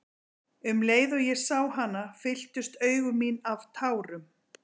Um leið og ég sá hana fylltust augu mín af tárum.